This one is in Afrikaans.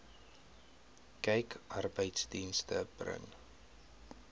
kyk arbeidsdienste bring